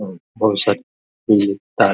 और बहुत सारी उम्म तार --